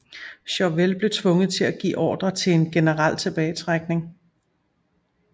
Chauvel blev tvunget til at give ordre til en generel tilbagetrækning